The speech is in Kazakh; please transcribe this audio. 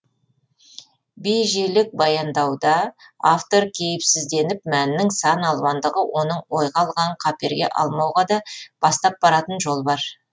бейжелік баяндауда автор кейіпсізденіп мәннің сан алуандығы оның ойға алғанын қаперге алмауға да бастап баратын жол бар